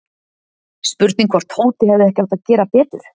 Spurning hvort Tóti hefði ekki átt að gera betur?